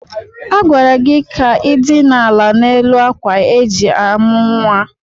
Agwara gị ka i dina ala n'elu ákwà eji amụ̀ nwa!